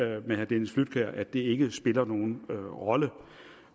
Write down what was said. herre dennis flydtkjær i at det ikke spiller nogen rolle